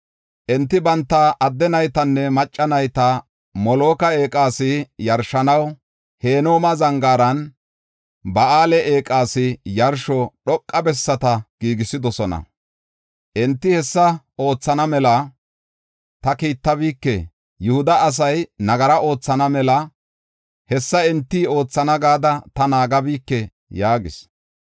Enti banta adde naytanne macca nayta Moloka eeqas yarshanaw Hinooma Zangaaran Ba7aale eeqas yarsho dhoqa bessata giigisidosona. Enti hessa oothana mela ta kiittabike; Yihuda asay nagara oothana mela hessa enti oothana gada ta naagabike” yaagis.